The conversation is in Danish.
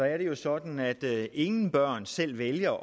er det jo sådan at ingen børn selv vælger